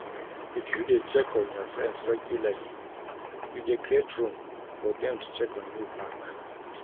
If you de check up on your friends regularly you de create room for dem to check on you back